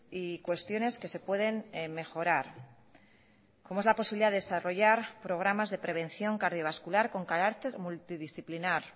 y cuestiones que se pueden mejorar como es la posibilidad de desarrollar programas de prevención cardiovascular con carácter multidisciplinar